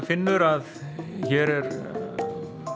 finnur að hér er